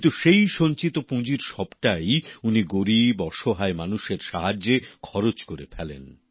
কিন্তু সেই সঞ্চিত অর্থের সবটাই উনি গরিব অসহায় মানুষের সাহায্যে খরচ করে ফেলেন